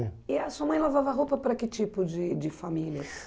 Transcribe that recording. E a sua mãe lavava roupa para que tipo de de famílias?